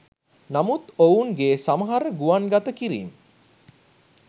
නමුත් ඔවුනගේ සමහර ගුවන්ගත කිරීම්